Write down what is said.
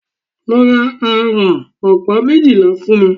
Lọ ra àrán ọ̀pá méjìlá fún mí!